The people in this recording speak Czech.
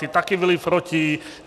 Ti také byli proti.